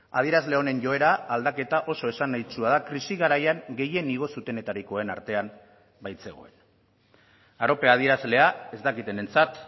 adierazle honen joera aldaketa oso esanahitsua da krisi garaian gehien igo zutenetarikoen artean baitzegoen arope adierazlea ez dakitenentzat